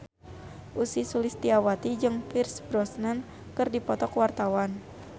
Ussy Sulistyawati jeung Pierce Brosnan keur dipoto ku wartawan